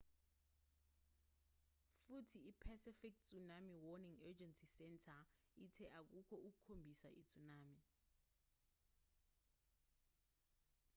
futhi i-pacific tsunami warning agency center ithe akukho okukhombisa i-tsunami